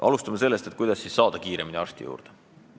Alustan sellest, kuidas siis saada kiiremini arsti juurde.